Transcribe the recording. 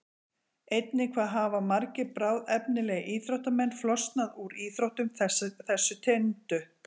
Einnig hvað hafa margir bráðefnilegir íþróttamenn flosnað úr íþróttum þessu tengdu?